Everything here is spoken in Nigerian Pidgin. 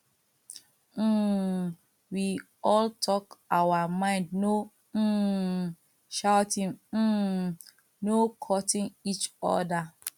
um we all talk our mind no um shouting um no cuttin each other